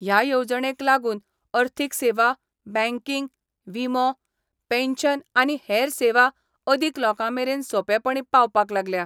ह्या येवजणेक लागून अर्थिक सेवा, बँकींग, विमो, पेन्शन आनी हेर सेवा अदीक लोकां मेरेन सोपेपणीं पावपाक लागल्या.